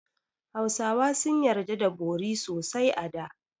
Hausawa sun yarda da bori sosai a da.